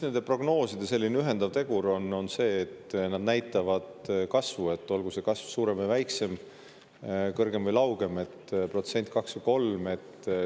Nende prognooside ühendav tegur on see, et nad näitavad kasvu, olgu see kasv suurem või väiksem, kõrgem või laugem, olgu ta protsent, kaks või kolm.